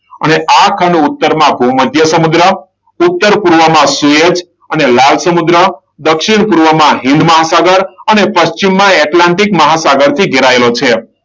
અને આ ખંડ ઉત્તરમાં ભૂમધ્ય સમુદ્ર, ઉત્તર પૂર્વમાં સુએજ અને લાલ સમુદ્ર, દક્ષિણ પૂર્વમાં હિંદ મહાસાગર અને પશ્ચિમમાં એટલાન્ટિક મહાસાગર થી ઘેરાયેલો છે.